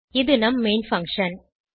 இது நம் main function